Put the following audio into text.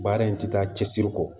Baara in tɛ taa cɛsiri kɔ